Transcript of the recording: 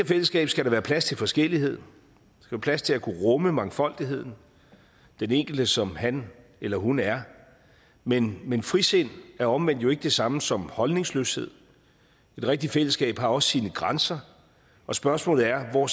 fællesskab skal der være plads til forskellighed plads til at kunne rumme mangfoldigheden den enkelte som han eller hun er men men frisind er omvendt jo ikke det samme som holdningsløshed et rigtigt fællesskab har også sine grænser og spørgsmålet er hvor